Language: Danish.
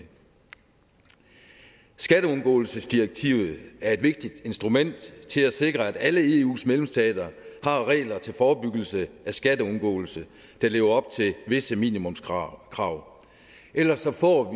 skatteundgåelsesdirektivet er et vigtigt instrument til at sikre at alle eus medlemsstater har regler til forebyggelse af skatteundgåelse der lever op til visse minimumskrav ellers får